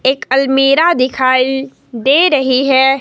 एक अलमीरा दिखाई दे रही है।